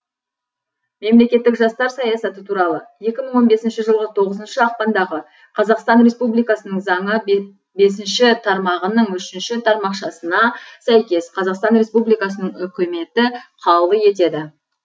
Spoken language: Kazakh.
мемлекеттік жастар саясаты туралы екі мың он бесінші жылғы тоғызыншы ақпандағы қазақстан республикасының заңы бесінші тармағының үшінші тармақшасына сәйкес қазақстан республикасының үкіметі қаулы етеді